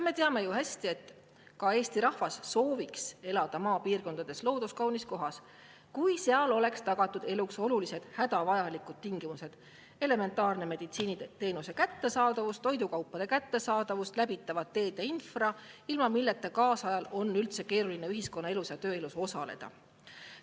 Me teame ju hästi, et Eesti rahvas sooviks elada maapiirkonnas looduskaunis kohas, kui seal oleks tagatud eluks olulised hädavajalikud tingimused: elementaarse meditsiiniteenuse kättesaadavus, toidukaupade kättesaadavus, läbitavad teed ja infra, ilma milleta kaasajal on üldse keeruline ühiskonna elus ja tööelus osaleda.